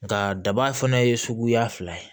Nka daba fana ye suguya fila ye